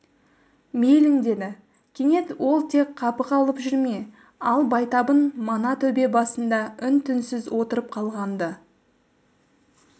мейлің деді кенет ол тек қапы қалып жүрме ал байтабын мана төбе басында үн-түнсіз отырып қалған-ды